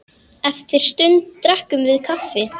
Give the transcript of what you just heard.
Eftir sund drekkum við kaffi.